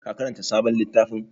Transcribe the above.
Ka karanta sabon littafin?